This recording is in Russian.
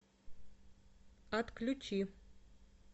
отключи